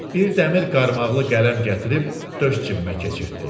Bir dəmir qarmaqlı qələm gətirib döş cibbə keçirtdi.